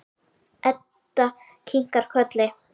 Edda kinkar kolli.